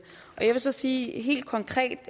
jeg vil så sige helt konkret